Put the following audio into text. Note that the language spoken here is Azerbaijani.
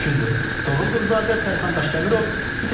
Toğrul Quluzadə, Sərxan Daşkəmirov, ATV xəbər.